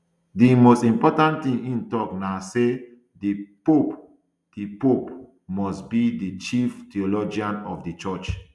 di most important thing im tok na say di pope di pope must be di chief theologian of di church